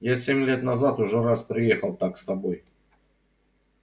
я семь лет назад уже раз приехал так с тобой